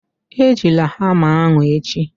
Ejila hama ahụ echi